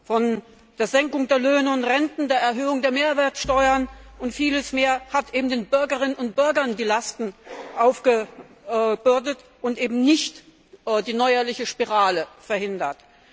von der Senkung der Löhne und Renten bis zur Erhöhung der Mehrwertsteuern und vieles mehr, hat den Bürgerinnen und Bürgern die Lasten aufgebürdet und eben nicht die neuerliche Spirale verhindert.